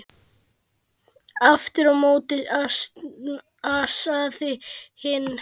Aftur á móti ansaði hinn